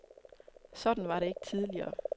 Sådan var det ikke tidligere.